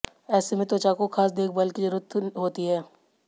ऐसे में त्वचा को खास देखभाल की जरूरत होती है